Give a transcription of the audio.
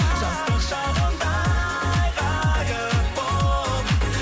жастық шағымдай ғайып болып